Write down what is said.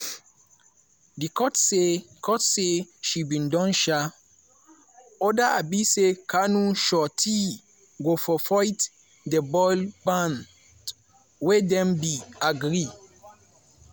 di court say court say she bin don um order um say kanu sureties go forfeit di bail bond wey dem bin agree.